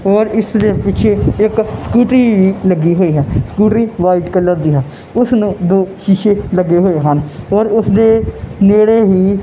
ਔਰ ਇਸ ਦੇ ਪਿੱਛੇ ਇੱਕ ਚੇਤਕ ਸਕੂਟੀ ਲੱਗੀ ਹੋਈ ਹੈ ਸਕੂਟਰੀ ਵਾਈਟ ਕਲਰ ਦੀ ਹੈ ਉਸਨੂੰ ਦੋ ਸ਼ੀਸ਼ੇ ਲੱਗੇ ਹੋਏ ਹਨ ਔਰ ਉਸਦੇ ਨੇੜੇ ਹੀ--